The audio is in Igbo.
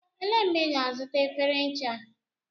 Elee mgbe ị ga-azụta efere ncha?